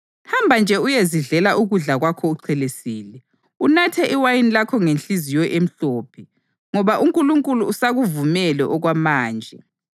Hamba nje uyezidlela ukudla kwakho uchelesile, unathe iwayini lakho ngenhliziyo emhlophe, ngoba uNkulunkulu usakuvumele okwamanje.